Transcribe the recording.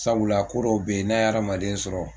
Sabula ko dɔw bɛ yen n'a ye adamaden sɔrɔ